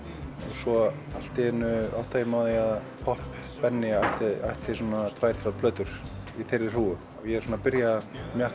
svo allt í einu áttaði ég mig á því að popp Benni ætti svona tvær þrjár plötur í þeirri hrúgu og ég er svona að byrja